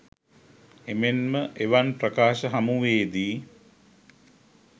එමෙන්ම එවන් ප්‍රකාශ හමුවේ දී